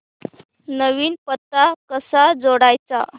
नवीन पत्ता कसा जोडायचा